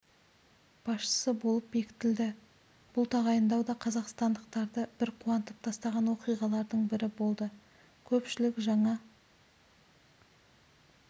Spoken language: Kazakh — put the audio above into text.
басшысы болып бекітілді бұл тағайындау да қазақстандықтарды бір қуантып тастаған оқиғалардың бірі болды көпшілік жаңа